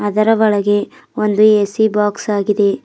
ಅದರ ಒಳಗೆ ಒಂದು ಎ_ಸಿ ಬಾಕ್ಸ್ ಆಗಿದೆ.